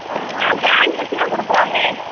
அஹ brand வெச்சுளா குடுக்குறாங்களே